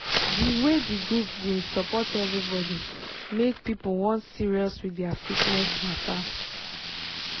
di way di group bin support everybody make people wan serious with their fitness mata